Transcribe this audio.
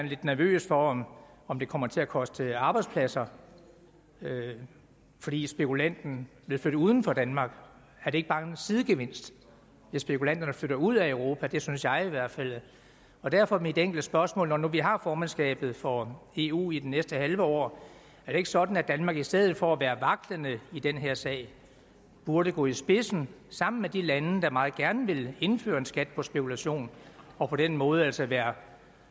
lidt nervøs for om om det kommer til at koste arbejdspladser fordi spekulanten vil flytte uden for danmark er det ikke bare en sidegevinst hvis spekulanterne flytter ud af europa det synes jeg i hvert fald derfor er mit enkle spørgsmål når nu vi har formandskabet for eu i det næste halve år er det ikke sådan at danmark i stedet for at være vaklende i den her sag burde gå i spidsen sammen med de lande der meget gerne vil indføre en skat på spekulation og på den måde jo altså være